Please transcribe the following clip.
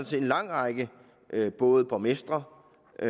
set en lang række både borgmestre og